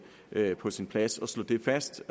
er på sin plads at slå det fast